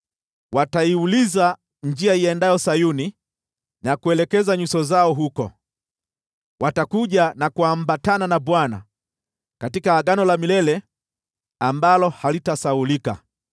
Wataiuliza njia iendayo Sayuni na kuelekeza nyuso zao huko. Watakuja na kuambatana na Bwana katika agano la milele ambalo halitasahaulika.